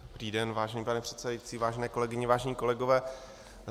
Dobrý den, vážený pane předsedající, vážené kolegyně, vážení kolegové.